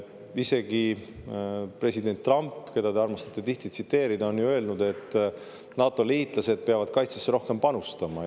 Isegi president Trump, keda te armastate tihti tsiteerida, on ju öelnud, et NATO-liitlased peavad kaitsesse rohkem panustama.